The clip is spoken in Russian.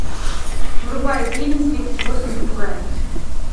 врубай фильм тридцать восемь попугаев